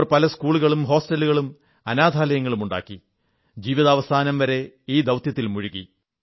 അവർ പല സ്കൂളുകളും ഹോസ്റ്റലുകളും അനാഥാലയങ്ങളും പണിയിപ്പിച്ചു ജീവിതാവസാനം വരെ ഈ ദൌത്യത്തിൽ മുഴുകി